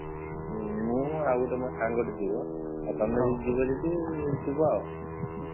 ମୁଁ ଆଉ ଗୋଟେ ମୋ ସାଙ୍ଗଟେ ଯିବ। ଆଉ ତମେ ସବୁ ଯିବ ଯଦି ଯିବ ଆଉ।